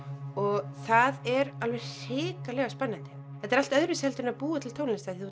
og það er alveg hrikalega spennandi þetta er allt öðruvísi en að búa til tónlist þú